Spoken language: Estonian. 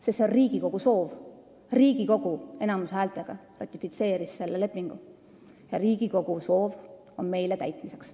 Sest see on Riigikogu soov, Riigikogu enamushäältega ratifitseeris selle lepingu ja Riigikogu soov on meile täitmiseks.